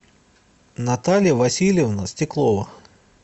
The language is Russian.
наталья васильевна стеклова